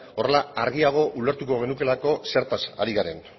horrela argiago ulertuko genukeelako zertaz ari garen